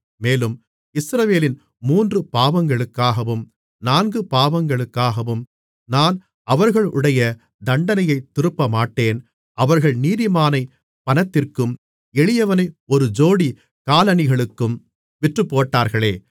மேலும் இஸ்ரவேலின் மூன்று பாவங்களுக்காகவும் நான்கு பாவங்களுக்காகவும் நான் அவர்களுடைய தண்டனையைத் திருப்பமாட்டேன் அவர்கள் நீதிமானைப் பணத்திற்கும் எளியவனை ஒரு ஜோடி காலணிகளுக்கும் விற்றுப்போட்டார்களே